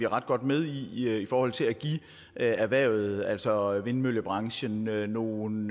ret godt med i i forhold til at give erhvervet altså vindmøllebranchen nogle